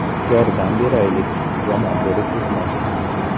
Yordam beraylik, yomon bo‘lib ketmasin.